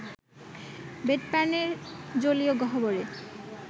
বেডপ্যানের জলীয় গহ্বরে